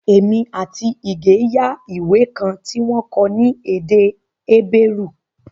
Èmi àti Ige yá ìwé kan tí wọ́n kọ ní èdè Hébérù